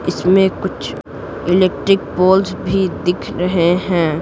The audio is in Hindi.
इसमें कुछ इलेक्ट्रिक पोल्स भी दिख रहे हैं।